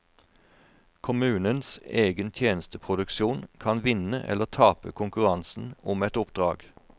Kommunens egen tjenesteproduksjon kan vinne eller tape konkurransen om et oppdrag.